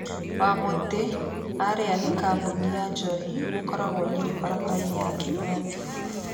wamutĩ arĩa nĩ kambuni ya njohi ĩkoragwo nyĩrĩ barabara-inĩ ya kĩmathi